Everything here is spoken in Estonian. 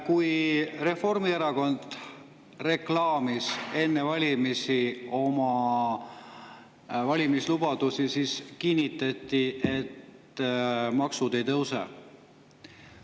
Kui Reformierakond reklaamis enne valimisi oma valimislubadusi, siis kinnitati, et maksud ei tõuse.